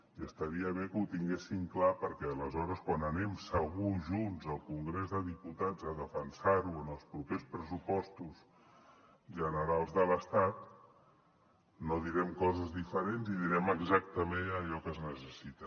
i estaria bé que ho tinguessin clar perquè aleshores quan anem segur junts al congrés dels diputats a defensar ho en els propers pressupostos generals de l’estat no direm coses diferents i direm exactament allò que es necessita